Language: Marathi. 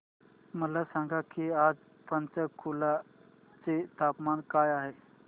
मला सांगा की आज पंचकुला चे तापमान काय आहे